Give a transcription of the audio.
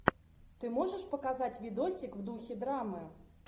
ты можешь показать видосик в духе драмы